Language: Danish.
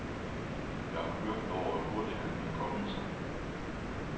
Jeg er forbløffet over, hvor hurtigt han er kommet sig.